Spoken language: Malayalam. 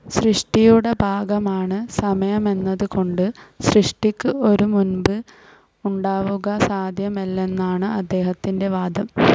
സൃഷ്ടിയുടെ ഭാഗമാണ് സമയമെന്നത് കൊണ്ട്, സൃഷ്ടിക്ക് ഒരു മുൻപ് ഉണ്ടാവുക സാധ്യമല്ലെന്നാണ് അദ്ദേഹത്തിൻ്റെ വാദം.